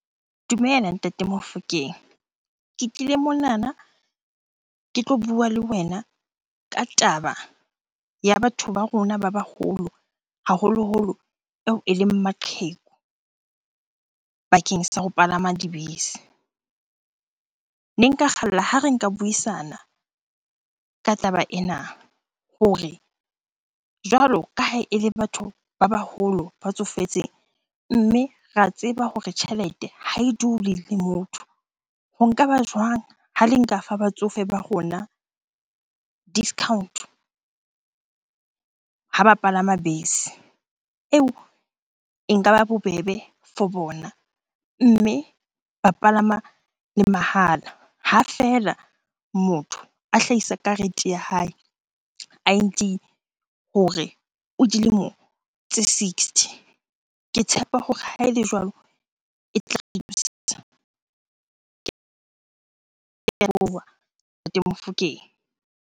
Dumela Ntate Mofokeng. Ke tlile monana ke tlo bua le wena ka taba ya batho ba rona ba baholo, haholoholo eo eleng maqheku bakeng sa ho palama dibese. Ne nka kgalla ha re nka buisana ka taba ena hore jwalo ka ha ele batho ba baholo, ba tsofetseng mme ra tseba hore tjhelete ha e dule le motho. Ho nka ba jwang ha le nka fa batsofe ba rona discount-o ha ba palama bese? Eo e nka ba bobebe for bona mme ba palama le mahala ha feela motho a hlahisa karete ya hae, I_D hore o dilemo tse sixty. Ke tshepa hore ha ele jwalo e . Ke a leboha Ntate Mofokeng.